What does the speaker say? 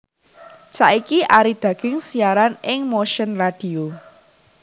Saiki Arie Dagienkz siaran ing Motion Radio